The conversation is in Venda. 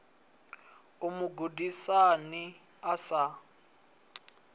u mu gudisa a sa